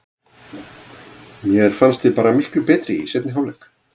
Mér fannst við bara miklu betri í seinni hálfleik.